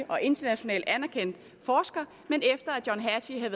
og internationalt anerkendt forsker men efter at john hattie